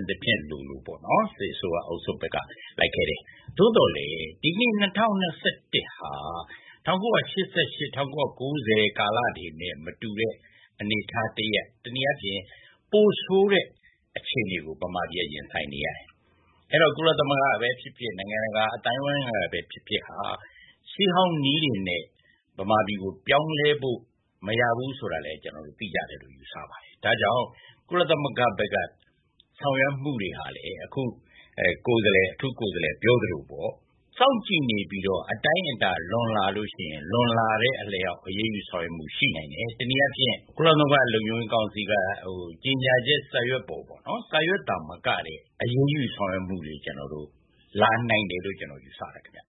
အစဉ်အဆက်ဆိုသလို စစ်အစိုးရဘက် လိုက်ခဲ့တယ်။ သို့သော်လည်း ဒီကနေ့ ၂၀၂၁ ဟာ ၁၉၈၈၊ ၁၉၉၀ ကာလတွေနဲ့ မတူတဲ့ အနေအထားတရပ်၊ တနည်းအားဖြင့် ပိုဆိုးတဲ့အခြေအနေကို မြန်မာပြည်က ရင်ဆိုင်နေရတယ်။ အဲတော့ ကုလသမဂ္ဂကပဲဖြစ်ဖြစ်၊ နိုင်ငံတကာ အသိုင်းအဝိုင်းကပဲဖြစ်ဖြစ် ရှေးဟောင်းနည်းတွေနဲ့ မြန်မာပြည်ကို ပြောင်းလဲဖို့ မရဘူးဆိုတာလည်း သိကြတယ်လို့ ယူဆပါတယ်။ ဒါကြောင့် ကုလသမဂ္ဂဘက်က ဆောင်ရွက်မှုတွေဟာလည်း အထူးကိုယ်စားလှယ်ပြောသလိုပေါ့ စောင့်ကြည့်နေပြီးတော့၊ အတိုင်းအတာလွန်လာလို့ရှိရင် လွန်လာတဲ့အလျောက် အရေးယူဆောင်ရွက်မှုရှိနိုင်တယ်။ တနည်းအားဖြင့် ကုလသမဂ္ဂလုံခြုံရေးကောင်စီက ကြေညာချက် စာရွက်သာမက အရေးယူဆောင်ရွက်မှုတွေ လာနိုင်တယ်လို့ ကျနော် ယူဆတယ်ခင်ဗျ။